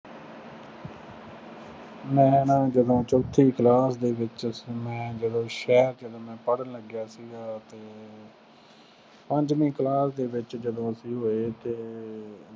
ਮੈਂ ਹੈ ਨਾ ਜਦੋਂ ਨਾ ਚੌਥੀ class ਦੇ ਵਿੱਚ ਸੀ। ਮੈਂ ਜਦੋਂ ਸ਼ਹਿਰ ਜਦੋਂ ਮੈਂ ਪੜ੍ਹਨ ਲੱਗਿਆ ਸੀਗਾ ਆਪ ਹੀ ਪੰਜਵੀਂ class ਦੇ ਵਿੱਚ ਜਦੋਂ ਅਸੀਂ ਹੋਏ ਤੇ